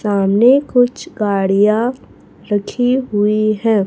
सामने कुछ गाड़ियां रखी हुई हैं।